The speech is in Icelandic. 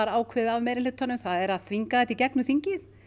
ákveðið af meirihlutanum það er að þvinga þetta í gegnum þingið